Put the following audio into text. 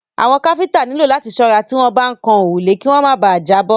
Àwọn káfíńńtà nílò láti ṣọ́ra tí wọ́n bá ń kan òrùlé kí wọ́n má bà à jábọ́.